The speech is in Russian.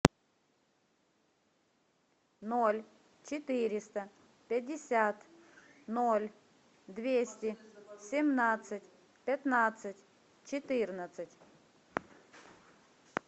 ноль четыреста пятьдесят ноль двести семнадцать пятнадцать четырнадцать